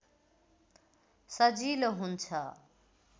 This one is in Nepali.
सजिलो हुन्छ